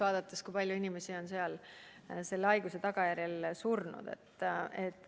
Vaadake, kui palju inimesi on seal selle haiguse tagajärjel surnud!